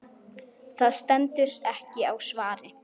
Það stendur ekki á svari.